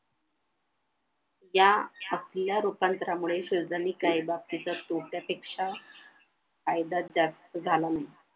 या असल्या रूपांतरामुळे शुद्रांनी काही बाबतीतच तोट्या पेक्षा फायदाच जास्त झाला म्हणे